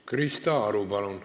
Krista Aru, palun!